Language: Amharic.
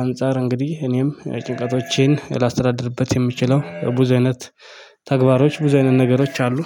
አንፃር እንግዲህ እኔም ጭንቀቶቼን ላስተዳድርበት የምችለው ብዙ አይነት ተግባሮች ብዙ አይነት ነገሮች አሉ